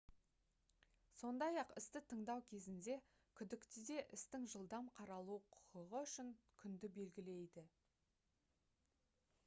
сондай-ақ істі тыңдау кезінде күдіктіде істің жылдам қаралуы құқығы үшін күнді белгілейді